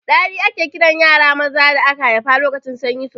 Ɗari ake kiran yara maza da aka haifa lokacin sanyi sosai